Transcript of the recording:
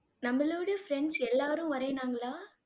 நம்மளோட friends எல்லாரும் வரேன்னாங்களா?